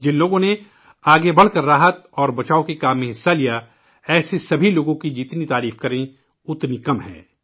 جن لوگوں نے راحت اور بچاؤ کارروائیوں کی قیادت کی ، وہ اتنی ستائش کے حقدار ہیں ، جسے بیان نہیں کیا جا سکتا